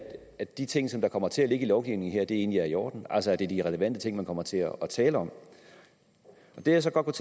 at de ting som kommer til at ligge i lovgivningen her egentlig er i orden altså at det er de relevante ting man kommer til at tale om det jeg så godt